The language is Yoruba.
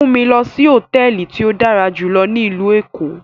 Mu mi lọ si hotẹẹli ti o dara julọ ni ilu Eko!